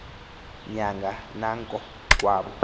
nyanga nanko kowabo